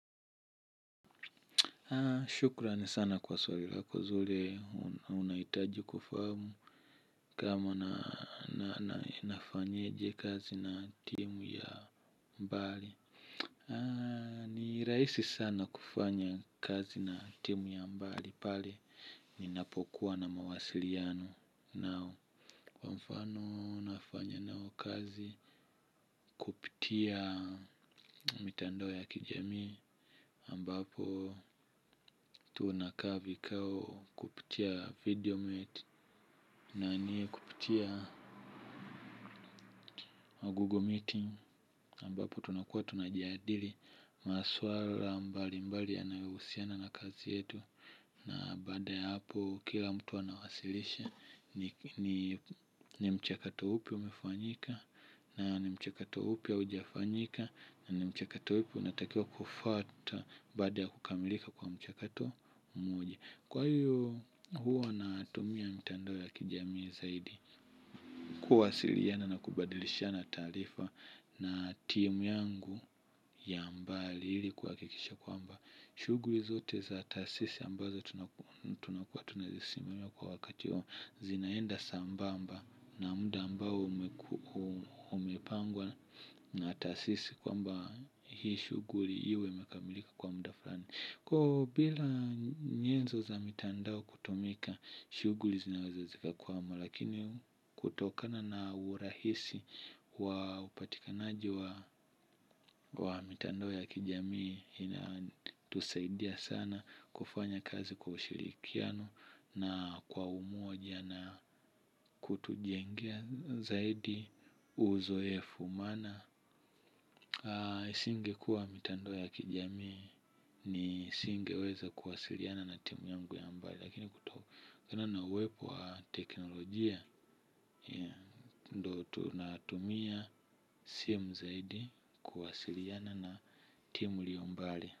Shukran sana kwa swali lako zuri unahitaji kufahamu kama na na na na na nafanyeje kazi na timu ya mbali. Ni rahisi sana kufanya kazi na timu ya mbali pale ninapokuwa na mawasiliano nao. Kwa mfano nafanya nao kazi kupitia mitandao ya kijami ambapo tunakaa vikao kupitia video meet na ni kupitia google meeting ambapo tunakuwa tunajadili maswala mbali mbali yanayohusiana na kazi yetu na baada ya hapo kila mtu anawasilisha ni mchakato upi umefanyika na ni mchakato upi haujafanyika, na mchakato upi unatakiwa kufuata baada ya kukamilika kwa mchakato mmoja. Kwa hiyo huwa natumia mitandao ya kijamii zaidi. Kuwasiliana na kubadilishana taarifa na team yangu ya mbali ili kuhakikisha kwamba shughuli zote za taasisi ambazo tunakuwa tunazisemea kwa wakati huo zinaenda sambamba na mda ambao umepangwa na taasisi kwamba hii shughuli iwe imekamilika kwa muda fulani. Kwa bila nyenzo za mitandao kutumika shughuli zinaweza zikakwama lakini kutokana na urahisi wa upatikanaji wa wa mitandao ya kijamii inatusaidia sana kufanya kazi kwa ushirikiano na kwa umoja na kutujengea zaidi uzoefu maana singekuwa mitandao ya kijamii nisingeweza kuwasiliana na timu yangu ya mbali lakini kutokana na uwepo wa teknolojia ndo tunatumia simu zaidi kuwasiliana na timu iliyo mbali.